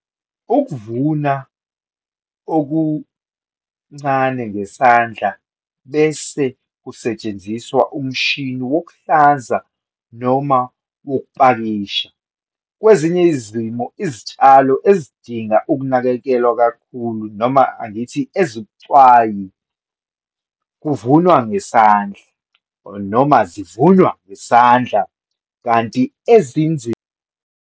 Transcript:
Ukuvuna okuncane ngesandla bese kusetshenziswa umshini wokuhlanza noma wokupakisha. Kwezinye izimo izitshalo ezidinga ukunakekelwa kakhulu, noma angithi ezibucwayi, kuvunwa ngesandla, noma zivunywa ngesandla, kanti .